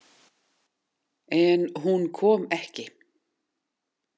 En hún kom ekki.